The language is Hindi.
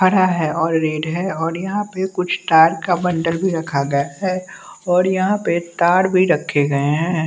हरा है और रेड है और यहाँ पे कुछ तार का बंडल भी रखा गया है और यहाँ पे तार भी रखे गए हैं।